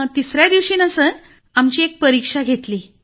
तिसऱ्या दिवशी ना सर आमची एक परीक्षा घेतली